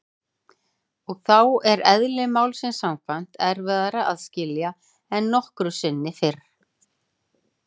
Og þá er- eðli málsins samkvæmt- erfiðara að skilja en nokkru sinni fyrr.